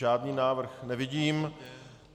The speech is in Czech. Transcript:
Žádný návrh nevidím.